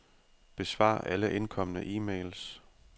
Besvar alle indkomne e-mails.